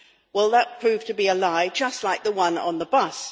Well, that proved to be a lie, just like the one on the bus.